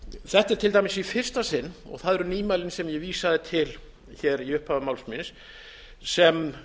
er til dæmis í fyrsta sinn og það eru nýmælin sem ég vísaði til í upphafi máls míns sem